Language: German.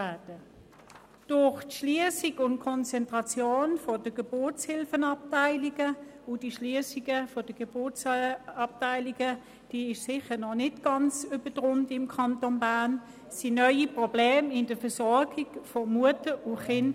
Durch die Schliessung und die Konzentration der Geburtshilfeabteilungen – die Schliessung der Geburtsabteilungen ist im Kanton Bern sicher noch nicht ganz abgeschlossen – entstanden neue Probleme bei der Versorgung von Mutter und Kind.